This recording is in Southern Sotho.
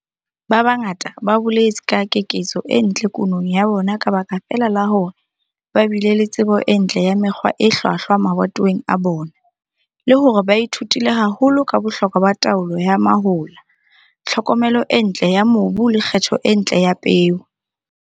Ba bangata ba boletse ka keketseho e ntle kunong ya bona ka baka feela la hore ba bile le tsebo e ntle ya mekgwa e hlwahlwa mabatoweng a bona, le hore ba ithutile haholo ka bohlokwa ba taolo ya mahola, tlhokomelo e ntle ya mobu le kgetho e ntle ya peo.